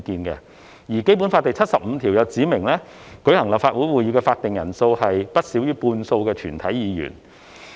而《基本法》第七十五條指明，舉行立法會會議的法定人數為不少於全體議員的半數。